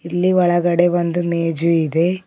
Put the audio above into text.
ಇಲ್ಲಿ ಒಳಗಡೆ ಒಂದು ಮೇಜು ಇದೆ.